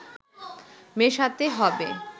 মেশাতে হবে